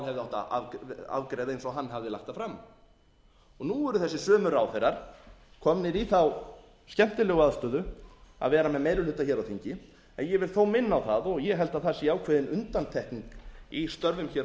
að afgreiða eins og hann hafði lagt það fram nú eru þessir sömu ráðherrar komnir í þá skemmtilegu aðstöðu að vera með einir hluta hér á þingi en ég vil þó minna á það og ég held að það sé ákveðin undantekning í störfum hér á